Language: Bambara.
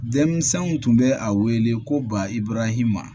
Denmisɛnw tun bɛ a wele ko ba ibarahima